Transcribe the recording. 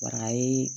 Barayi